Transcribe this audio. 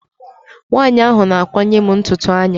Nwaanyi ahụ na-akwanye m ntutu anya.